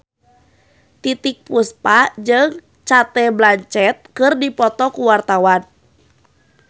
Titiek Puspa jeung Cate Blanchett keur dipoto ku wartawan